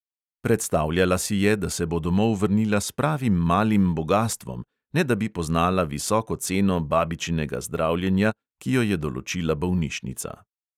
Predstavljala si je, da se bo domov vrnila s pravim malim bogastvom, ne da bi poznala visoko ceno babičinega zdravljenja, ki jo je določila bolnišnica.